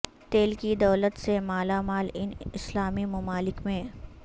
تیل کی دولت سے مالا مال ان اسلامی ممالک میں